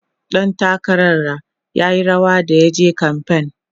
ɗan takarar r yayi rawa da yaje kamfain